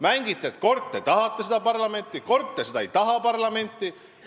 Mängite, et kord te tahate seda parlamenti, kord te ei taha seda parlamenti.